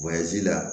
la